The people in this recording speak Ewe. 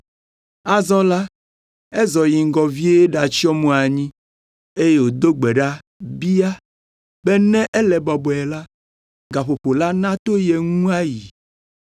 Azɔ la, ezɔ yi ŋgɔ vie ɖatsyɔ mo anyi eye wòdo gbe ɖa bia be ne ele bɔbɔe la, gaƒoƒo la nato ye ŋu ayi.